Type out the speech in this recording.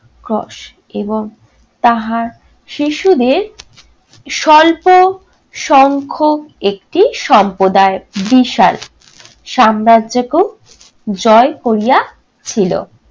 কষ এবং তাহা শিশুদের স্বল্প সংখ্যক একটি সম্প্রদায়। বিশাল সাম্রাজ্যকেও জয় করিয়া ছিলো।